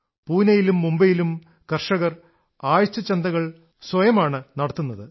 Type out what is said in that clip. പൂനയിലും മുംബൈയിലും കർഷകർ ആഴ്ചച്ചന്തകൾ സ്വയമാണ് നടത്തുന്നത്